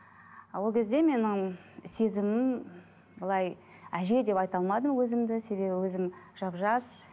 ол кезде менің сезімім былай әже деп айта алмадым өзімді себебі өзім жап жас